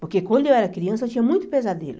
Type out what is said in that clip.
Porque quando eu era criança, eu tinha muito pesadelo.